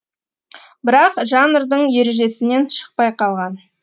бірақ жанрдың ережесінен шықпай қалған